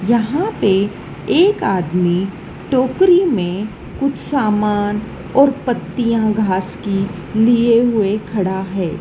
यहां पे एक आदमी टोकरी में कुछ सामान और पत्तियां घास की लिए हुए खड़ा है।